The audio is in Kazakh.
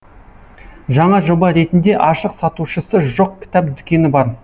жаңа жоба ретінде ашық сатушысы жоқ кітап дүкені бар